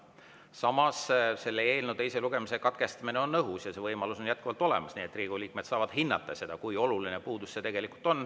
Samas, selle eelnõu teise lugemise katkestamine on õhus ja see võimalus on jätkuvalt olemas, nii et Riigikogu liikmed saavad hinnata seda, kui oluline puudus see tegelikult on.